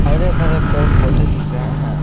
हरे भरे पेड़ पौधे दिख रहा है।